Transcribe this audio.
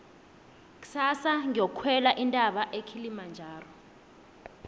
kusasa ngiyokukhwela intaba ekilimajaro